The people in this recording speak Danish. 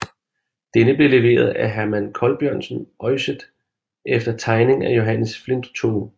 Denne blev leveret af Herman Colbjørnsen Øyset efter tegning af Johannes Flintoe